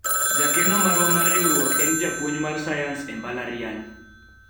jakeno marwa mar riwruok en japuonj mar sayans e mbalariany